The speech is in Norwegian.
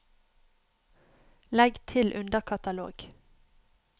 legg til underkatalog